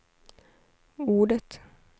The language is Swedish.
ordet